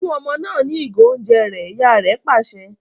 Fún ọmọ náà ní igo oúnjẹ rẹ! ìyá rẹ pàṣẹ